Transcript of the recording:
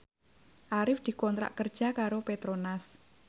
Arif dikontrak kerja karo Petronas